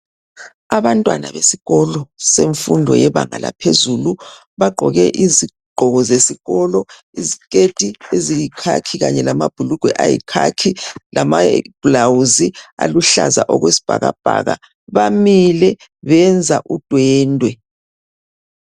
Abantwana besikolo semfundo yebanga laphezulu bagqoke izigqoko zesikolo isiketi eziyikhakhi kanye lama bhulugwe ayikhakhi lama blouse aluhlaza okwesibhakabhaka bamile benza udwendwe.